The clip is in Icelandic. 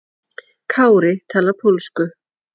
Kári talar pólsku.